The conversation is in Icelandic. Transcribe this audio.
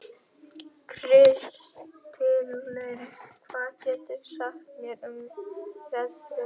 Kristlind, hvað geturðu sagt mér um veðrið?